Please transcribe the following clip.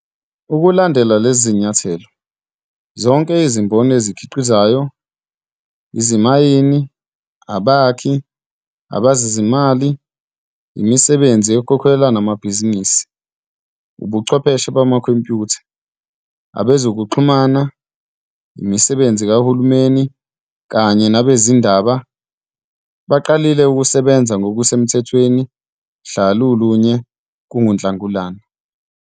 Ukulandela lezi zinyathelo, zonke izimboni ezikhi qizayo, izimayini, abakhi, abezezimali, imisebenzi ekhokhelwayo namabhizinisi, ubuchwepheshe bamakhompyutha, abe zokuxhumana, imisebenzi kahulumeni kanye nabezindaba, baqalile ukusebenza ngokusemthethweni mhla lulunye kuNhlangulana.